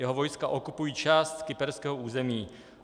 Jeho vojska okupují část kyperského území.